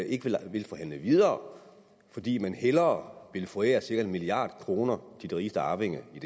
ikke vil forhandle videre fordi man hellere vil forære cirka en milliard kroner til de rigeste arvinger i